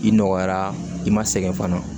I nɔgɔyara i ma sɛgɛn fana